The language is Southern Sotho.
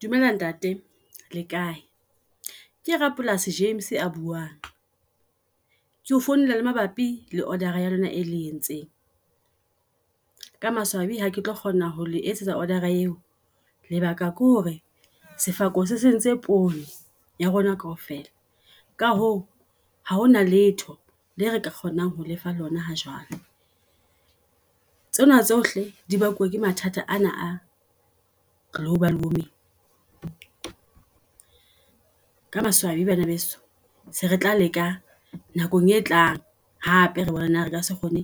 Dumela ntate le kae ke rapolasi James a buang. Keo founela mabapi le order-a ya lona e le entseng. Ka maswabi ha ke tlo kgona ho etsetsa order-a eo. Lebaka ke hore sefako se sentse poone ya rona kaofela, ka hoo ha hona letho le re ka kgonang ho lefa lona ha jwale. Tsena tsohle di bakuwe ke mathata ana a global warming. Ka maswabi bana beso se re tla leka nakong e tlang, hape re bone na re ka se kgone